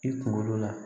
I kunkolo la